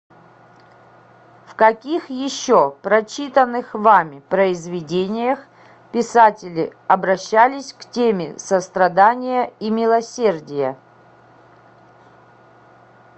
в каких еще прочитанных вами произведениях писатели обращались к теме сострадания и милосердия